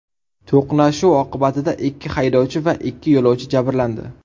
To‘qnashuv oqibatida ikki haydovchi va ikki yo‘lovchi jabrlandi.